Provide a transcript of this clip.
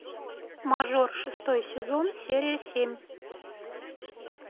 мажор шестой сезон серия семь